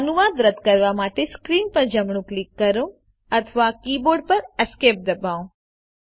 અનુવાદ રદ કરવા માટે સ્ક્રીન પર જમણું ક્લિક કરો અથવા કીબોર્ડ પર Esc ડબાઓ